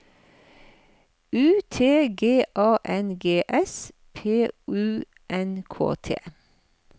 U T G A N G S P U N K T